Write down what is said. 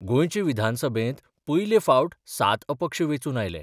गोंयचे विधानसभेत पयले फावट सात अपक्ष वेंचून आयले.